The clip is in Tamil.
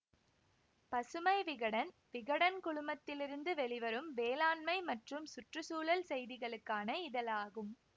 பசுமை விகடன் விகடன் குழுமத்திலிருந்து வெளிவரும் வேளாண்மை மற்றும் சுற்று சூழல் செய்திகளுக்கான இதழாகும்